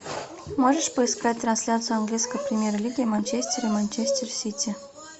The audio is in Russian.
можешь поискать трансляцию английской премьер лиги манчестер и манчестер сити